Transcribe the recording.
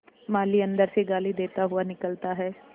माली अंदर से गाली देता हुआ निकलता है